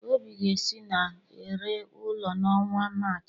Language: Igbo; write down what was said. Obi ga-esi na-ere ụlọ ya n'ọnwa Maachị.